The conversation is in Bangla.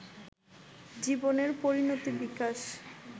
জীবনের পরিণতি-বিকাশ